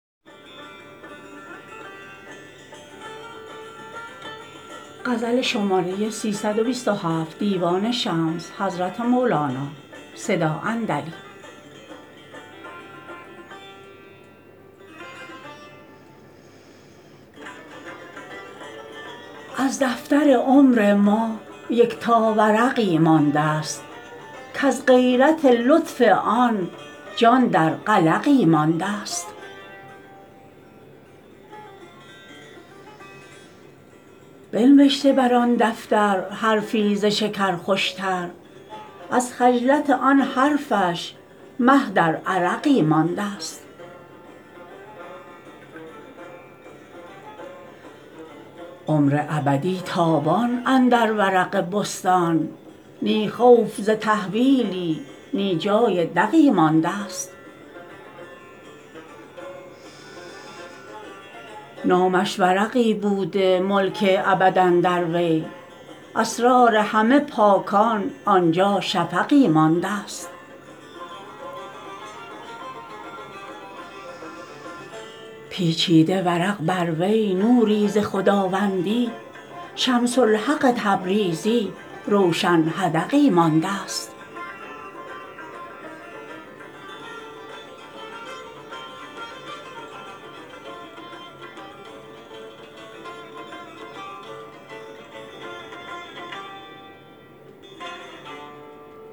از دفتر عمر ما یکتا ورقی مانده ست کز غیرت لطف آن جان در قلقی مانده ست بنوشته بر آن دفتر حرفی ز شکر خوشتر از خجلت آن حرفش مه در عرقی مانده ست عمر ابدی تابان اندر ورق بستان نی خوف ز تحویلی نی جای دقی مانده ست نامش ورقی بوده ملک ابد اندر وی اسرار همه پاکان آن جا شفقی مانده ست پیچیده ورق بر وی نوری ز خداوندی شمس الحق تبریزی روشن حدقی مانده ست